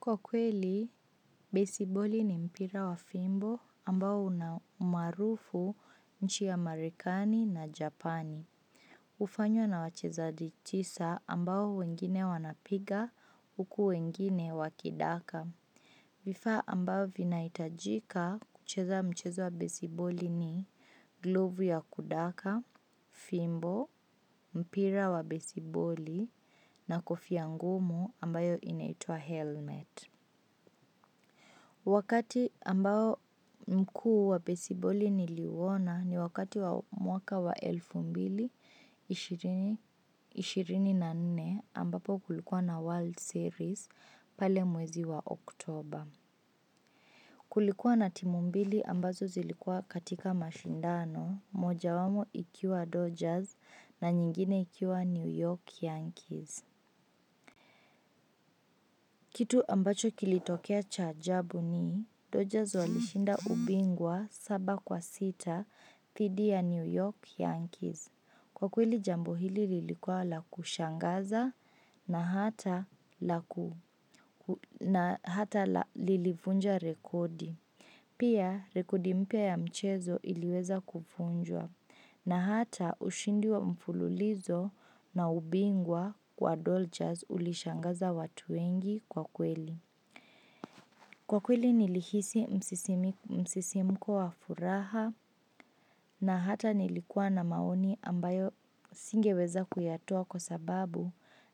Kwa kweli, besiboli ni mpira wa fimbo ambao una umaarufu nchi ya Amerikani na Japani. Ufanywa na wachezadi chisa ambao wengine wanapiga, uku wengine wakidaka. Vifaa ambao vinaitajika kucheza mchezo wa besiboli ni glovu ya kudaka, fimbo, mpira wa besiboli na kofia ngumu ambayo inaitwa helmet. Wakati ambao mkuu wa besiboli niliouwona ni wakati wa mwaka wa elfu mbili ishirini na nne ambapo kulikuwa na world series. Kulikuwa na timu mbili ambazo zilikua katika mashindano moja wamo ikiwa Dodgers na nyingine ikiwa New York Yankees. Kitu ambacho kilitokea cha ajabu ni Dodgers walishinda ubingwa saba kwa sita dhidi ya New York Yankees. Kwa kweli jambo hili lilikua la kushangaza na hata lilivunja rekodi. Pia rekodi mpya ya mchezo iliweza kuvunjwa na hata ushindi wa mfululizo na ubingwa kwa dolchaz ulishangaza watu wengi kwa kweli. Kwa kweli nilihisi msisimuko wa furaha na hata nilikuwa na maoni ambayo singeweza kuyatoa kwa sababu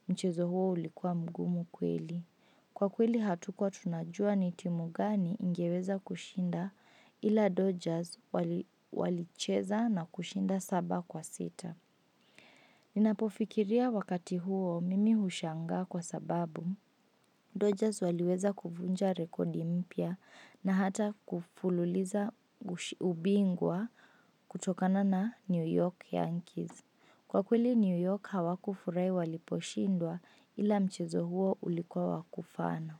mchezo huo ulikuwa mgumu kweli. Kwa kweli hatuko tunajua ni timu gani ingeweza kushinda ila Dodgers walicheza na kushinda saba kwa sita. Ninapofikiria wakati huo mimi hushangaa kwa sababu. Dodgers waliweza kuvunja rekondi mpya na hata kufululiza ubingwa kutokana na New York Yankees. Kwa kweli New York hawakufurai waliposhindwa ila mchezo huo ulikuwa wakufana.